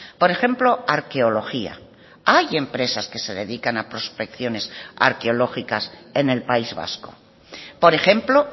por ejemplo arqueología hay empresas que se dedican a prospecciones arqueológicas en el país vasco por ejemplo